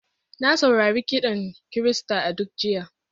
Na saurari kiɗan Kirista a duk jiya.